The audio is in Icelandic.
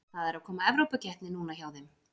Það er að koma Evrópukeppni núna hjá þeim.